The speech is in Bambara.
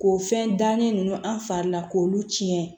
K'o fɛn dannen ninnu an fari la k'olu tiɲɛ